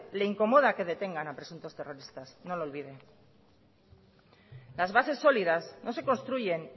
le incomoda que detengan a presuntos terroristas no lo olviden las bases sólidas no se construyen